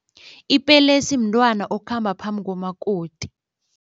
Ipelesi mntwana okhamba phambi komakoti.